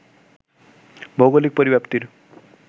ভৌগোলিক পরিব্যাপ্তির